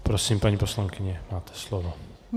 Prosím, paní poslankyně, máte slovo.